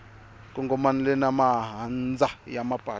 kongomanile na mahandza ya mapatu